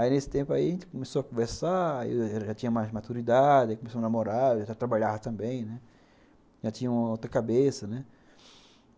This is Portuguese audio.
Aí nesse tempo aí a gente começou a conversar, eu já tinha mais maturidade, comecei a namorar, já trabalhava também, né, já tinha outra cabeça.